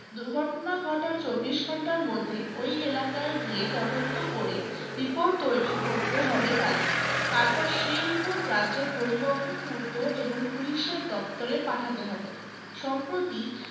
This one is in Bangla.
দুর্ঘটনা ঘটার চব্বিশ ঘন্টার মধ্যে ওই এলাকায় গিয়ে তদন্ত করে report তৈরি করতে হবে তাদের তারপর সেই report রাজ্যের পরিবহন পূর্ত এবং police এর দপ্তরে পাঠাতে হবে সম্প্রতি